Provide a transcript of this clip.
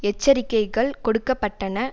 எச்சரிக்கைகள் கொடுக்க பட்டன